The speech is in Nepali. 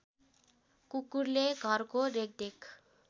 कुकुरले घरको रेखदेख